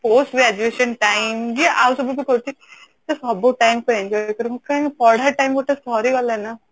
Postgraduation time ଯିଏ ଆଉ ସବୁ ବି କରୁଛି ସେ ସବୁ time କୁ enjoy କର କାହିଁକି ନା ପଢା time ଗୋଟେ ସରିଗଲା ନା